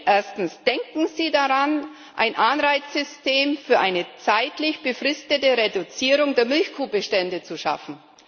Erstens Denken Sie daran, ein Anreizsystem für eine zeitlich befristete Reduzierung der Milchkuhbestände zu schaffen?